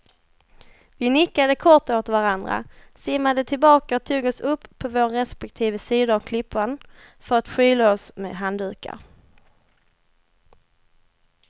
Vi nickade kort åt varandra, simmade tillbaka och tog oss upp på våra respektive sidor av klippan för att skyla oss med handdukar.